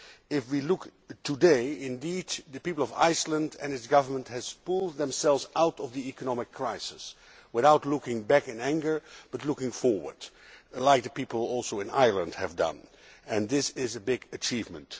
If we look today, indeed, the people of Iceland and its government have pulled themselves out of the economic crisis without looking back in anger but looking forward, as the people in Ireland have also done, and this is a big achievement.